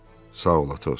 Sağ ol, Athos.